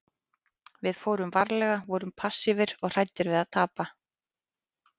Við fórum varlega, vorum passífir og hræddir við að tapa.